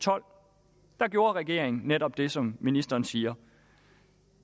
tolv gjorde regeringen netop det som ministeren siger